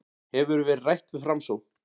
Hefur verið rætt við Framsókn